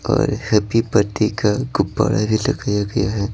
और happy birthday का गुब्बारा भी लगाया गया है।